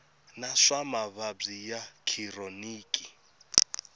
wa swa mavabyi ya khironiki